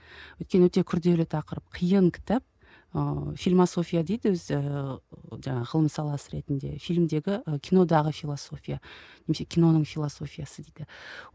өйткені өте күрделі тақырып қиын кітап ыыы фильмасофия дейді өзі жаңағы ғылым саласы ретінде фильмдегі кинодағы философия немесе киноның философиясы дейді